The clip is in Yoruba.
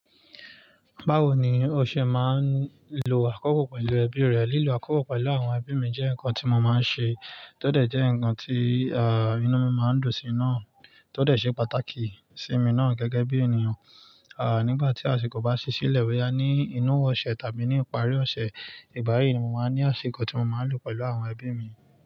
Báwo ni o ṣe máa ń lo àkọ́kọ́ pẹ̀lú ẹbí rẹ? Lílọ àkọ́kọ́ pẹ̀lú àwọn ẹbí mi jẹ́ nǹkan tí mo máa ń ṣe, tó dẹ̀ jẹ́ nǹkan tí, inú mi máa ń dùn sí i náà, tó dẹ̀ ṣe pàtàkì sí mi náà gẹ́gẹ́ bí ènìyàn. Nígbà tí àsìkò bá ṣi ṣílẹ̀, bóyá ní inú ọ̀sẹ̀ tàbí ní ìparí ọ̀sẹ̀, ìgbá yì ní mo máa ń ní àsìkò tí mo máa ń lò pẹ̀lú àwọn ẹbí mi.